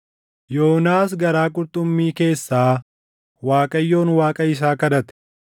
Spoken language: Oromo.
Yoonaas garaa qurxummii keessaa Waaqayyoon Waaqa isaa kadhate.